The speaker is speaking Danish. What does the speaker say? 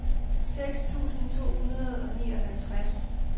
seks tusind to hundrede og nioghalvtreds